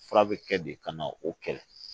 Fura bɛ kɛ de ka na o kɛlɛ